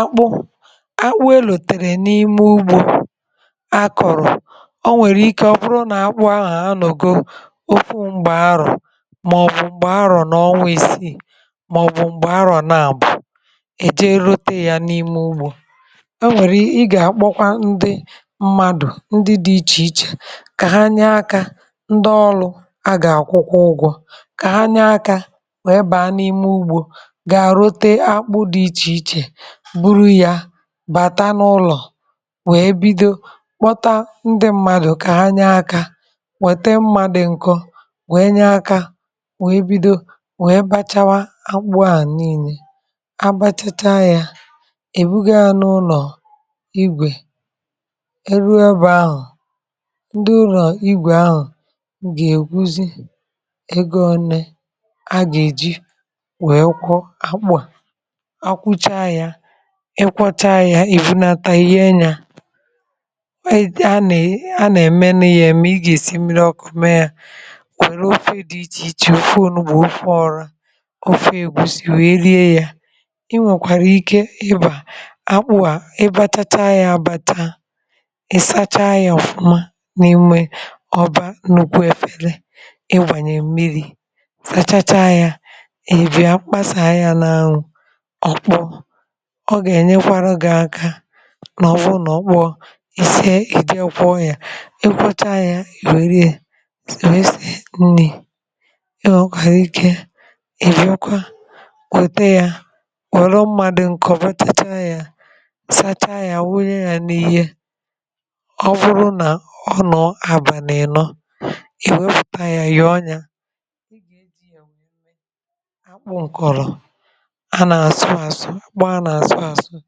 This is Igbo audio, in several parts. akpụ akpụ ènlòtèrè n’ime ugbȯ akọ̀rọ̀, o nwèrè ike ọ bụrụ nà akpụ ahụ̀ anọ̀go okwu̇ m̀gbè arọ̀ màọ̀bụ̀ m̀gbè arọ̀ n’ọnwȧ isi, màọ̀bụ̀ m̀gbè arọ̀ na-abụ̀ èje ròtè yȧ n’ime ugbȯ, o nwèrè, i gà-akpọkwa ndị mmadụ̀ ndị dị iche iche kà ha nye akȧ, ndị ọlụ̇ a gà-àkwụkwa ụgwọ̇ kà ha nye akȧ, wee bàa n’ime ugbȯ gaa ròtè akpụ dị iche iche buru ya bàta n’ụlọ̀, wee bido kpọta ndị mmadụ̀ kà ha nye akȧ, wète mma dị ǹkọ, wee nye akȧ, wee bido wee bàchàwa akpụ ahụ̀ ànìlè, abàchàcha yȧ èbughànụ̇ ụlọ̀ ígwè eruo ebe ahụ̀, ndị ụlọ̀ ígwè ahụ̀ gà-èkwúzị egȯ òné a gà-èji wee kwọọ akpụ a, ha kwuchaa ya, ị kwọcha ya, ị̀vụ nata inye yȧ ha nà-èmé nù ya èmé, ị gà-èsi mmìrì ọkụ mee ya, nwèrè ofe dị iche iche: ofe ọ̀nugbu, ofe ọ̀rà ofe ègúsí, wèe rie ya. Ị nwekwàrà ike ịbà akpụ à, ị bàchàcha ya abàcha, ị sàchàa ya ọ̀fụma n’ime ọbà nnukwu éfere, ị gbànye mmìrì, sàchàchàa ya, ị bịá kpàsàa ya n’anwụ̇, ọ kpọọ, ọ gà-ènyekwara gị aka nà ọ bụ̀ na ọ kpọọ, i sịe, ì jekwuo ya, i kwọcha ya, èwere ya wee sịe nni̇ ị nwekwara ike ịbịakwa wètè ya, wèrè mma ǹkọ̀ bàchàcha ya, sàcha ya, wunye ya n’ihe ọ bụrụ nà ọnụ̇ àbàlị ìnọ, i wépùta ya, nyọọ ya, ị gà-èjì ya wee mee akpụ nkòrò a na-àsụ̀ àsụ̀, akpụ a na-àsụ̀ àsụ̀,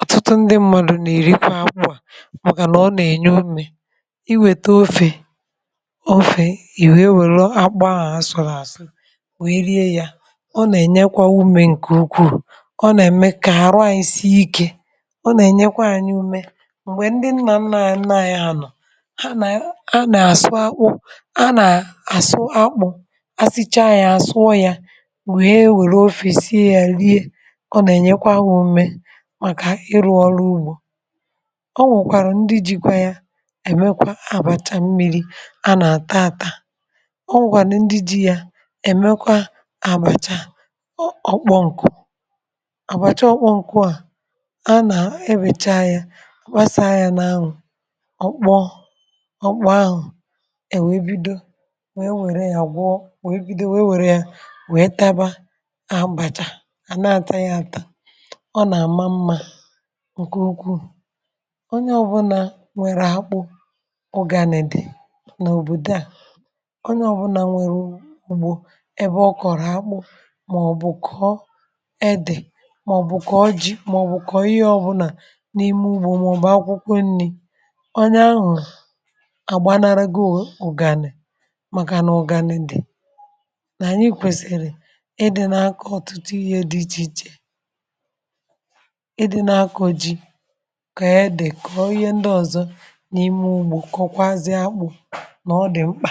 ọ̀tụtụ ndị mmadụ nà-èrikwa akpụ à, màkànà ọ nà-ènye umė iwèta ofè ofè ì wee wèru akpụ ahụ̀ àsụ̀rụ̀ àsụ̀, nwèe rie yȧ, ọ nà-ènyekwa umė ǹkè ukwuù, ọ nà-ème kà àrụ anyị sịe ikė, ọ nà-ènyekwa anyị ume. M̀gbè ndị nnà-ńnà ànyị anọ̀, ha nà-àsụ akpụ, a nà-àsụ akpụ, a sịchaa yȧ, àsụ̀ọ yȧ, wee wèrù ofe sịe ya, rie, ọ nà-ènyekwa ha ume màkà ịrụ̇ ọrụ ugbȯ. Ọ nwèkwàrȧ ndị ji̇kwa ya èmekwa àbàcha mmìrì a nà-àtà ȧtà ọ nwèkwànị ndị ji̇ ya èmekwa àbàcha ọọ̀kpọ̇ ǹkụ̀ àbàcha ọọ̀kpọ̇ ǹkụ, a nà-ebèchá ya àgbàsà ya n’anwụ̇, ọ kpọọ, ọ kpọọ, ahụ e wee bido wee wère ya gwụọ, wee bido wee wère ya wee tàbà, àbàcha a nà-àtà ya ȧtà, ọ nà-àma mmȧ ǹkè ukwuu. Onye ọbụnà nwèrè akpụ̇, ụ̀gànị dị n’òbòdo à, onye ọbụnà nwèrè ùgbò ebe ọ kọ̀rọ̀ akpụ̇, mà ọ̀ bụ̀ kọ̀ ede, mà ọ̀ bụ̀ kọ̀ jii, mà ọ̀ bụ̀ kọ̀ ihe ọbụnà n’ime ugbȯ, màọ̀bụ̀ akwụkwọ nni̇ onye ahụ̀ àgbànàrà gò ụ̀gànị, màkà n’ụ̀gànị dị̀ nà anyị kwèsìrì ìdị̇ nà-akọ̀ ọ̀tụtụ ihe dị iche iche ị dị nà-akọ̀ jì, kọ̀ọ̀ ede, kọ̀ọ̀ ihe ndị ọ̀zọ n’ime ugbȯ, kọ̀ọ̀kwazịà akpụ̇ nà ọ dị̀ mkpà.